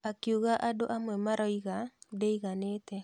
Akiuga andũ amwe maroiga ndĩiganĩte.